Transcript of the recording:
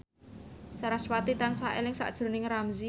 sarasvati tansah eling sakjroning Ramzy